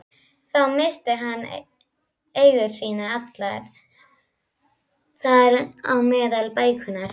Þá missti hann eigur sínar allar, þar á meðal bækurnar.